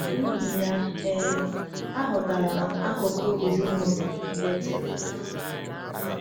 N’ihi ya, um aghọtara m akụkụ ezinụlọ Bethel.